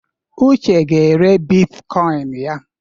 Uche ga-ere bitkoịn ya.